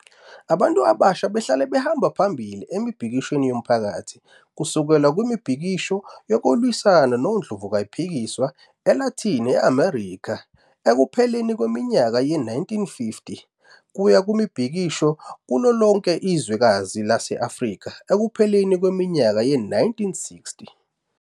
Abantu abasha bahlale behamba phambili emibhikishweni yomphakathi, kusukela kumibhikisho yokulwisana nondlovukayiphikiswa e-Latin America ekupheleni kweminyaka ye-1950, kuya kwimibhikisho kulolonke izwekazi lase-Afrika ekupheleni kweminyaka ye-1960.